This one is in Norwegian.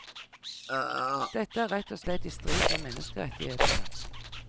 Dette er rett og slett i strid med menneskerettighetene.